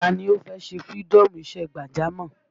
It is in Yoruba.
Taa ni ó fẹ́ ṣe fïrídọ́ọ̀mù isẹ́ gbàjámọ̀?